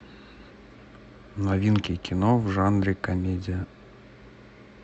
новинки кино в жанре комедия